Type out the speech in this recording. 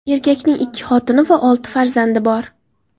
Erkakning ikki xotini va olti farzandi bor.